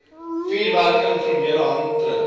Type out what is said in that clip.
vuurwerke informele handeldryf